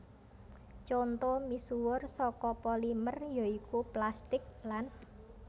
Conto misuwur saka polimer ya iku plastik lan